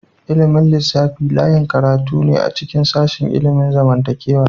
Ilimin lissafi layin karatu ne a cikin sashin ilimin zamantakewa.